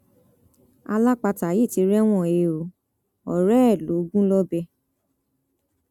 alápatà yìí ti rẹwọn he ọ ọrẹ ẹ lọ gún lọbẹ